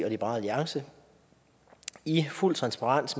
og liberal alliance i fuld transparens